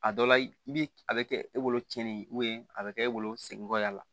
A dɔ la i bi a bɛ kɛ e bolo cɛnnin a bɛ kɛ e bolo segin kɔ a la